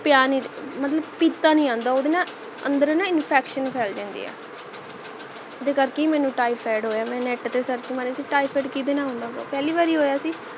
ਪਿਆ ਨਹੀਂ ਮਤਲਬ ਪੀਤਾ ਨਹੀਂ ਜਾਂਦਾ ਓਹਦੇ ਕਰਕੇ ਨਾ ਅੰਦਰ ਨਾ infection ਫੇਲ ਜਾਂਦੀ ਹੈ ਓਹਦੇ ਕਰਕੇ ਹੀ ਮੈਨੂੰ typhoid ਹੋਇਆ ਮੈਂ net ਤੇ search ਮਾਰੀ ਸੀ typhoid ਕੀੜੇ ਨਾਲ ਹੁੰਦਾ ਪਹਿਲੀ ਵਾਰੀ ਹੋਇਆ ਸੀ